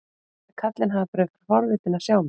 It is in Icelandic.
Ég held að karlinn hafi bara verið forvitinn að sjá mig.